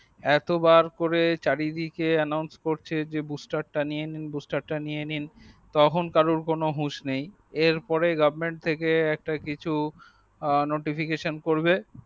এত বার করে চারি দিকে announce চারিদিকে bush star টা নিয়ে নিন bush star টা নিয়ে নিন তখন কারো কোনোহুশ নেই এর পরে গভর্মেন্ট থেকে একটা কিছু notification করবে